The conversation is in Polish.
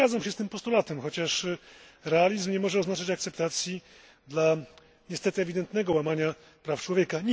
Zgadzam się z tym postulatem, chociaż realizm nie może oznaczać akceptacji dla niestety ewidentnego łamania praw człowieka.